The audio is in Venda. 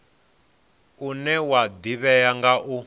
une wa ḓivhea nga u